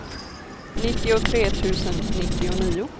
nittiotre tusen nittionio